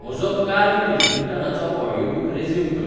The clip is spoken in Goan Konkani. म्हजो कार्ल पील्कींगटनाचो ऑडीयोबूक रेज्युम कर